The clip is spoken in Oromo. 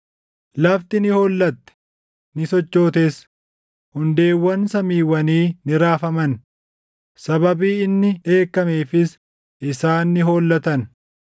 Lafti ni hollatte; ni sochootes; hundeewwan samiiwwanii ni raafaman; sababii inni dheekkameefis isaan ni hollatan.